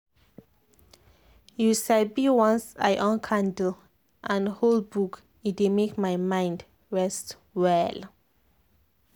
you sabi once i on candle and hold book e dey make my mind rest well.